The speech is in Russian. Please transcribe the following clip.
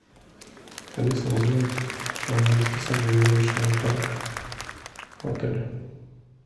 алиса узнай расписание веревочного парка в отеле